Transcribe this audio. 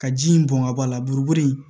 Ka ji in bɔn ka b'a la buruburu in